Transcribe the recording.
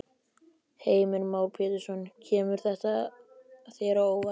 Heimir Már Pétursson: Kemur þetta þér á óvart?